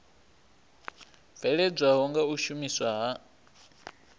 bveledzwaho nga u shumiswa ha